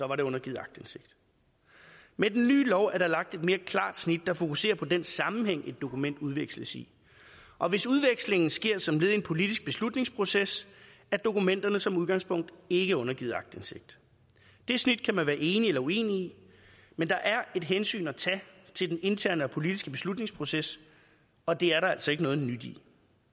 det undergivet aktindsigt med den nye lov er der lagt et mere klart snit der fokuserer på den sammenhæng et dokument udveksles i og hvis udvekslingen sker som led i en politisk beslutningsproces er dokumenterne som udgangspunkt ikke undergivet aktindsigt det snit kan man være enig eller uenig i men der er et hensyn at tage til den interne og politiske beslutningsproces og det er der altså ikke noget nyt i